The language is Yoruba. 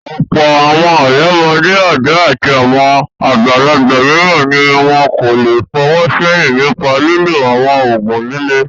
Ọ̀pọ̀ àwọn ọ̀dọ́mọdé, ọ̀dọ́ àti àwọn àgbàlagbà mìíràn ni wọn kò le fọwọ́ sẹ́yìn nípa lílo àwọn òògùn líle.